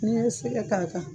N'i ye sɛgɛ k'a kan